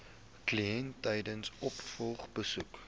kliënt tydens opvolgbesoeke